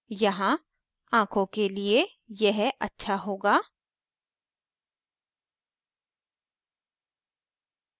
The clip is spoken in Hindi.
यहाँ आखों के लिए यह अच्छा होगा